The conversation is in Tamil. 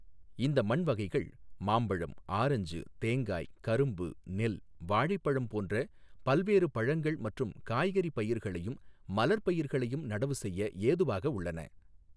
இந்த மண் வகைகள் மாம்பழம், ஆரஞ்சு, தேங்காய், கரும்பு, நெல், வாழைப்பழம் போன்ற பல்வேறு பழங்கள் மற்றும் காய்கறி பயிர்களையும் மலர் பயிர்களையும் நடவு செய்ய ஏதுவாக உள்ளன.